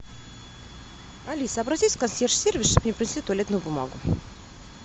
алиса обратись в консьерж сервис чтоб мне принесли туалетную бумагу